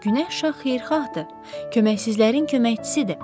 Günəş şah xeyirxahdır, köməksizlərin köməkçisidir.